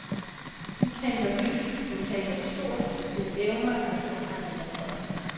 Du tænker nyt, du tænker stort, du evner at forhandle med folk.